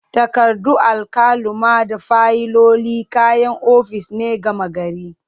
Takardu, alkaluma da fayiloli kayan ofis ne gama gari.